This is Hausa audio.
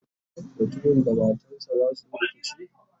mutumin da matansa zasuyi rikici?